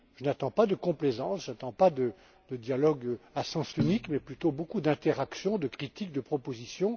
Je n'attends pas de complaisance, pas de dialogue à sens unique, mais plutôt beaucoup d'interaction, de critiques, de propositions.